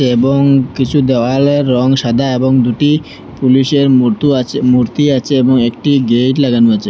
এবং কিছু দেওয়ালের রং সাদা এবং দুটি পুলিশের মুতো আছে মূর্তি আছে এবং একটি গেইট লাগানো আছে।